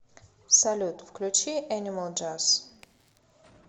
салют включи энимал джаз